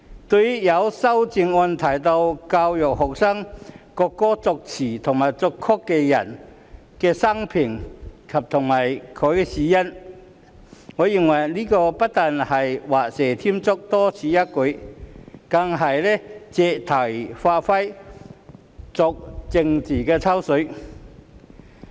對於有修正案要求教育學生國歌作詞人及作曲人的生平及死因，我認為這不但是畫蛇添足、多此一舉，更是借題發揮、作政治"抽水"。